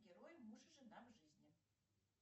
герой муж и жена в жизни